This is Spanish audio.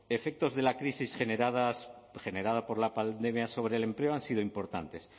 efectos de la crisis generada por la pandemia sobre el empleo han sido importantes